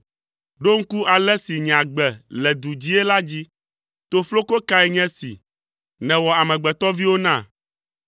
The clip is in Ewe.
Ɖo ŋku ale si nye agbe le du dzii la dzi. Tofloko kae nye si, nèwɔ amegbetɔviwo na!